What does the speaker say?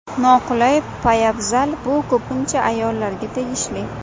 Noqulay poyabzal Bu ko‘pincha ayollarga tegishli.